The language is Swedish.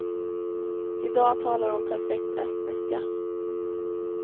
I dag talar hon perfekt estniska.